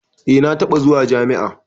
Eh na taɓa zuwa jami'a.